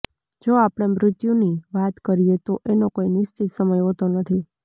જો આપણે મૃત્યુની વાત કરીએ તો એનો કોઈ નિશ્ચિત સમય હોતો નથી